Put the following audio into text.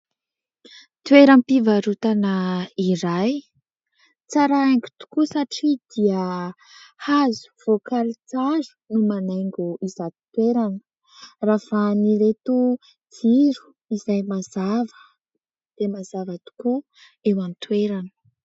Toeram-pivarotana iray, tsara aingo tokoa satria dia hazo voakaly tsara no manaingo izato toerana, ravahan'ireto jiro izay mazava dia mazava tokoa eo an-toerana.